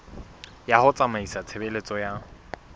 ya ho tsamaisa tshebeletso ya